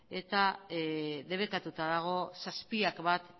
eta debekatuta dago zazpiak bat